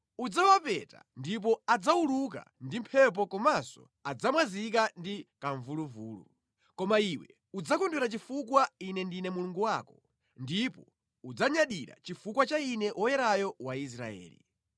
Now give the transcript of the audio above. Udzawapeta ndipo adzawuluka ndi mphepo komanso adzamwazika ndi kamvuluvulu. Koma iwe udzakondwera chifukwa Ine ndine Mulungu wako, ndipo udzanyadira chifukwa cha Ine Woyerayo wa Israeli: